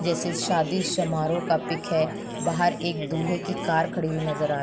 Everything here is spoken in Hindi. जैसे शादी समारोह का पिक है। बाहर एक दूल्हे की कार खड़ी हुई नजर आ --